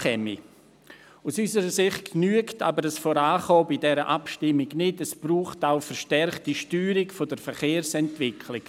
Aber aus unserer Sicht genügt dieses Vorankommen bei dieser Abstimmung nicht, es braucht auch eine verstärkte Steuerung der Verkehrsentwicklung.